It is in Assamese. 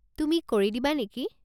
তুমি কৰি দিবা নেকি?